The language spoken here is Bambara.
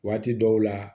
Waati dɔw la